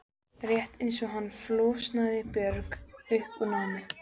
Rétt eins og hann flosnaði Björg upp úr námi.